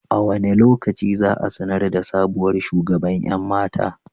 A wane lokaci za a sanar da sabuwar shugaban 'yan mata?